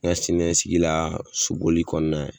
N ka siniɲɛsigi la soboli kɔnɔna